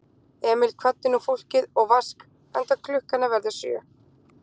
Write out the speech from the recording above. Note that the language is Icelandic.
Emil kvaddi nú fólkið og Vask, enda klukkan að verða sjö.